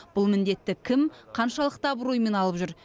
бұл міндетті кім қаншалықты абыроймен алып жүр